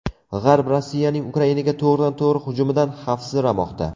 G‘arb Rossiyaning Ukrainaga to‘g‘ridan-to‘g‘ri hujumidan xavfsiramoqda.